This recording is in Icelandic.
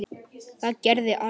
Það gerði Árný.